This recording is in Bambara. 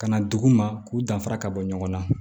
Ka na dugu ma k'u danfara ka bɔ ɲɔgɔn na